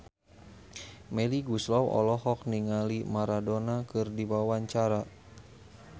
Melly Goeslaw olohok ningali Maradona keur diwawancara